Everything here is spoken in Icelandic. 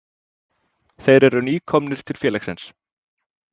Þeir eru nýkomnir til félagsins.